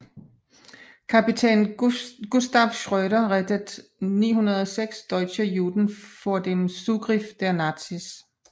Kapitän Gustav Schröder rettet 906 deutsche Juden vor dem Zugriff der Nazis